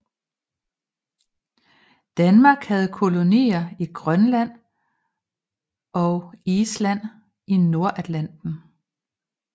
Danmark havde kolonier i Grønland og Island i Nordatlanten